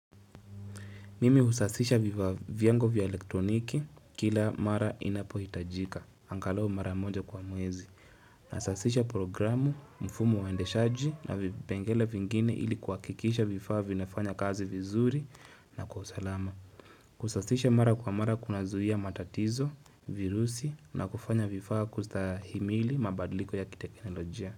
Mimi husasisha vifaa vyangu vya elektroniki kila mara inapo hitajika. Angalau mara moja kwa mwezi. Nasasisha programu, mfumu waendeshaji na vipengele vingine ili kuhakikisha vifaa vinafanya kazi vizuri na kwa usalama. Kusasisha mara kwa mara kuna zuhia matatizo, virusi na kufanya vifaa kustahimili mabadiliko ya kiteknolojia.